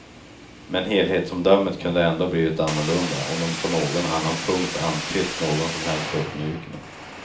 Men helhetsomdömet kunde ändå ha blivit annorlunda om hon på någon annan punkt antytt någon som helst uppmjukning.